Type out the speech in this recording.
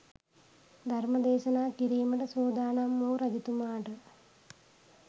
ධර්මදේශනා කිරීමට සූදානම් වූ රජතුමාට